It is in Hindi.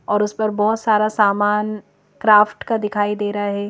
और उस पर बहुत सारा सामान क्राफ्ट का दिखाई दे रहा है।